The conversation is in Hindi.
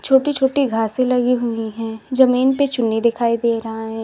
छोटी छोटी घासें लगी हुई हैं जमीन पे चुन्नी दिखाई दे रहा है।